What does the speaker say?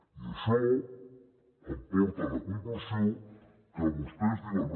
i això em porta a la conclusió que vostès diuen